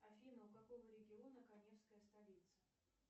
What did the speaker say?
афина у какого региона каневская столица